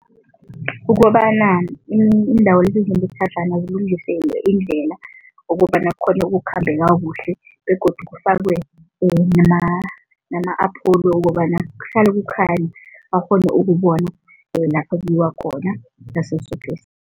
Kukobana iindawo lezi ezinemitlhatlhana kulungiswe iindlela ukobana kukghone ukukhambeka kuhle begodu kufakwe nama-apholo wokobana kuhlale kukhanya, bakghone ukubona lapha kuyiwa khona ngaso soke